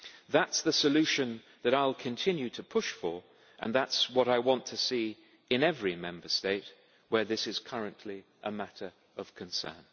That is the solution that I will continue to push for, and that is what I want to see in every Member State where this is currently a matter of concern.